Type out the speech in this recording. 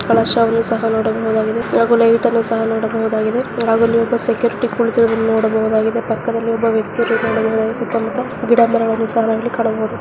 ಕಳಸವನ್ನು ಸಹ ನೋಡಬಹುದಾಗಿದೆ ಲೈಟ್ ಸಹ ನೋಡಬಹುದಾಗಿದೆವಾಗಿ ಸೆಕ್ಯುರಿಟಿ ಕೊಡುವ ನೋಡಬಹುದಾಗಿದೆ ಪಕ್ಕದಲ್ಲಿ ಒಬ್ಬ ವ್ಯಕ್ತಿಗಳ ಸುತ್ತ ಮುತ್ತ ಗಿಡ ಮರಗಳನ್ನು ಸಹ ನೋಡಬಹುದು.